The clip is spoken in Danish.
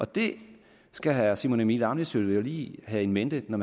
det skal herre simon emil ammitzbøll lige have in mente når